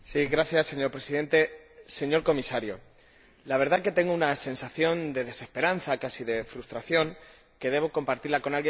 Señora Presidenta, señor Comisario, la verdad es que tengo una sensación de desesperanza, casi de frustración, que debo compartir con alguien.